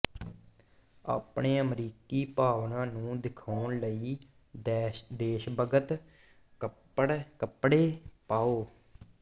ਆਪਣੇ ਅਮਰੀਕੀ ਭਾਵਨਾ ਨੂੰ ਦਿਖਾਉਣ ਲਈ ਦੇਸ਼ਭਗਤ ਕੱਪੜੇ ਪਾਓ